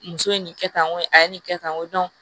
Muso ye nin kɛ tan ŋo a ye nin kɛ tan n ko